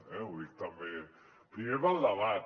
ho dic també primer pel debat